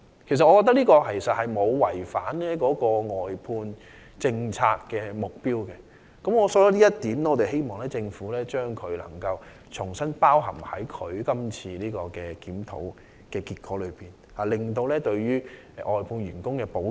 我覺得這沒有違反外判政策的目標，希望政府能夠將此安排重新納入有關檢討中，以期完善對外判員工的保障。